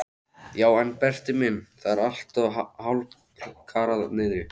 Já en Berti minn, það er allt hálfkarað niðri.